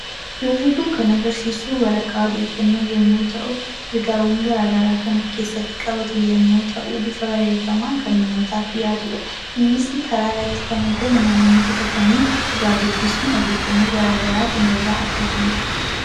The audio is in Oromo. Suurri kun kan agarsiisu waraqaa odeeffannoo yoo ta’u, ergaawwan gara garaa kan of keessatti qabatu yommuu ta'u, bifa barreeffamaan kan namootaaf dhiyaatudha. Innis karaarratti kan argamu namootni bitatanii irraa dubbisanii fi odeeffannoo gara garaa kan irraa argatanidha.